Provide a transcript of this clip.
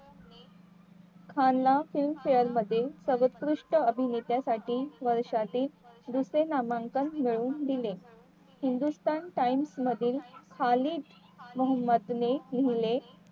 खान ला filmfare मध्ये सर्वात कृष्ट अभिनेत्यासाठी वर्षातील दुसरे नामांकन मिळवून दिले हिंदुस्थान times मधील खाली मोहम्मद ने लिहिले